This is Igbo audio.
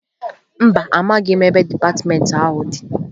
Mba, amaghị m ebe dịpatịmentị ahụ dị